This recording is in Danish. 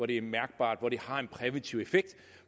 det er mærkbart og det har en præventiv effekt